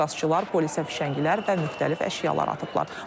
Etirazçılar polisə fişəngilər və müxtəlif əşyalar atıblar.